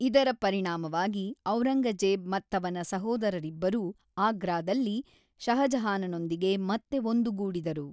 ಇದರ ಪರಿಣಾಮವಾಗಿ ಔರಂಗಜೇಬ್ ಮತ್ತವನ ಸಹೋದರರಿಬ್ಬರೂ ಆಗ್ರಾದಲ್ಲಿ ಷಹಜಹಾನನೊಂದಿಗೆ ಮತ್ತೆ ಒಂದುಗೂಡಿದರು.